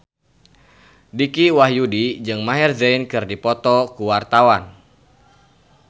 Dicky Wahyudi jeung Maher Zein keur dipoto ku wartawan